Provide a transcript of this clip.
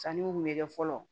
Sanniw kun bɛ kɛ fɔlɔ